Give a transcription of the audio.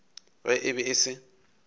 ge e be e se